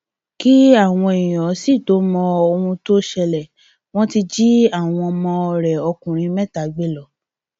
kí àwọn èèyàn sì tóó mọ ohun tó ń ṣẹlẹ wọn ti jí àwọn ọmọ rẹ ọkùnrin mẹta gbé lọ